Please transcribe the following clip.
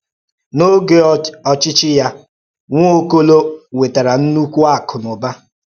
N’ógè ọchịchị́ ya, Nwaọ́kò̩ló̩ nwètàrà ńnụ̀kwú akụ́ na ụ̀bà.